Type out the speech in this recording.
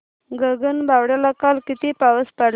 गगनबावड्याला काल किती पाऊस पडला